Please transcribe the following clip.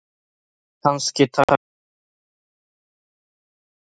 Kannski tækist henni það einn daginn.